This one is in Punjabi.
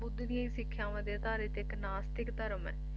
ਬੁੱਧ ਦੀਆਂ ਸਿੱਖਿਆਵਾਂ ਤੇ ਅਧਾਰਿਤ ਇੱਕ ਨਾਸਤਿਕ ਧਰਮ ਹੈ